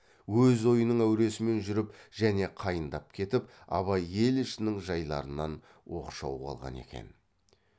өз ойының әуресімен жүріп және қайындап кетіп абай ел ішінің жайларынан оқшау қалған екен